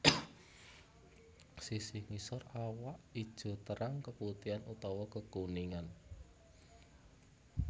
Sisi ngisor awak ijo terang keputihan utawa kekuningan